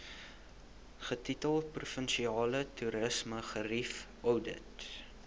getitel provinsiale toerismegerieweoudit